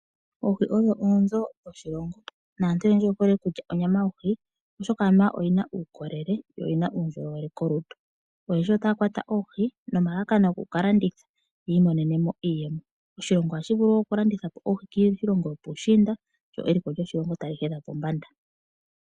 Oohi odho oonzo dhoshilongo naantu oyendji oye hole oku lya onyama yoohi oshoka anuwa oyina uukolele yo oyina uundjolowele kolutu. Oyendji otaya kwata oohi nomalalakano goku kalanditha yiimonenemo iiyemo. Oshilongo oha shivulu wo oku landithapo oohi iye kiilongo yopushiinda lyo eliko lyoshilongo tali hedha pombanda.